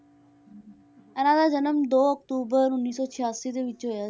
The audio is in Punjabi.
ਇਹਨਾਂ ਦਾ ਜਨਮ ਦੋ ਅਕਤੂਬਰ ਉੱਨੀ ਸੌ ਸਿਆਸੀ ਦੇ ਵਿੱਚ ਹੋਇਆ,